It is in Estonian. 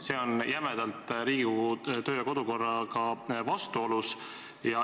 See on Riigikogu kodu- ja töökorra seadusega jämedalt vastuolus.